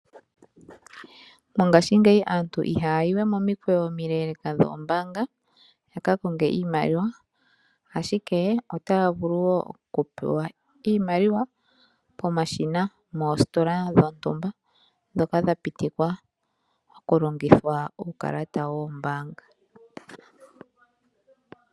Mongashingeyi aantu ihaya yiwe momikweyo omileeleeka dhoombaanga yaka konge iimaliwa ashike otaya vulu wo okupewa iimaliwa pomashina moositola dhontumba ndhoka dha pitikwa okulongitha uukalata woombaanga.